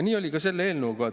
Nii oli ka selle eelnõuga.